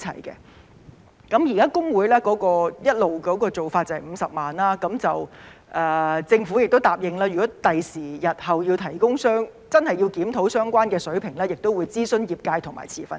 現時會計師公會一直的做法是最高50萬元，政府也答應如果日後真的要檢討相關水平，也會諮詢業界和持份者。